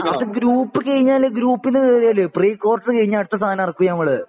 അത് ഗ്രൂപ്പ് കയിഞ്ഞാല് ഗ്രൂപ്പ് ന്നു കേറിയാല് പ്രീക്വാർട്ടർ കഴിഞ്ഞാല്അടുത്ത സാധനം ഇറക്കും നമ്മള്